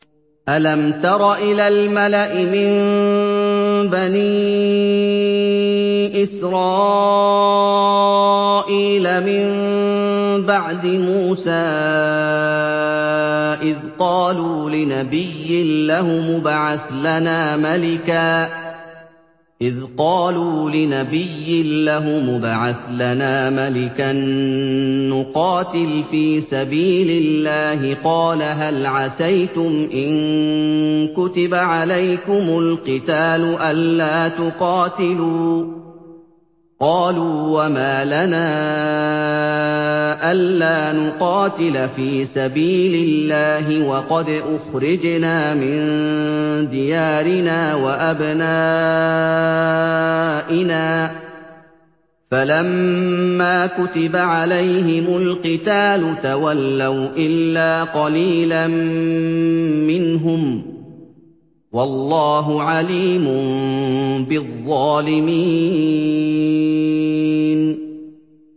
أَلَمْ تَرَ إِلَى الْمَلَإِ مِن بَنِي إِسْرَائِيلَ مِن بَعْدِ مُوسَىٰ إِذْ قَالُوا لِنَبِيٍّ لَّهُمُ ابْعَثْ لَنَا مَلِكًا نُّقَاتِلْ فِي سَبِيلِ اللَّهِ ۖ قَالَ هَلْ عَسَيْتُمْ إِن كُتِبَ عَلَيْكُمُ الْقِتَالُ أَلَّا تُقَاتِلُوا ۖ قَالُوا وَمَا لَنَا أَلَّا نُقَاتِلَ فِي سَبِيلِ اللَّهِ وَقَدْ أُخْرِجْنَا مِن دِيَارِنَا وَأَبْنَائِنَا ۖ فَلَمَّا كُتِبَ عَلَيْهِمُ الْقِتَالُ تَوَلَّوْا إِلَّا قَلِيلًا مِّنْهُمْ ۗ وَاللَّهُ عَلِيمٌ بِالظَّالِمِينَ